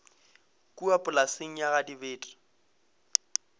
kua polaseng ya ga dibete